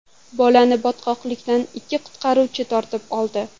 Bolani botqoqlikdan ikki qutqaruvchi tortib oldi.